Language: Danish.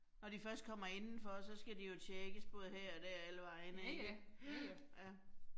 Når de først kommer indenfor, så skal de jo tjekkes både her og der og alle vegne ikke. Ja, ja